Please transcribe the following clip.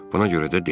Buna görə də dedim.